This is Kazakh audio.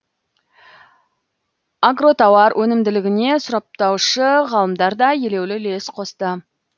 агротауар өнімділігіне сұрыптаушы ғалымдар да елеулі үлес қосты